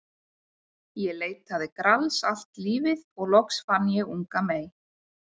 Ég leitaði Grals allt lífið og loks fann ég unga mey.